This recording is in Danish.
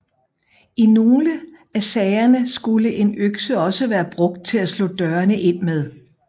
I nogle af sagerne skulle en økse også være brugt til at slå døre ind med